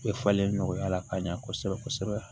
E falen nɔgɔya la ka ɲa kosɛbɛ kosɛbɛ